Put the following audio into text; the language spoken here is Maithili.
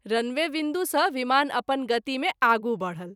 रनवे विन्दु सँ विमान अपन गति मे आगू बढल।